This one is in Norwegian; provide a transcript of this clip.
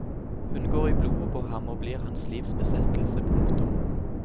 Hun går i blodet på ham og blir hans livs besettelse. punktum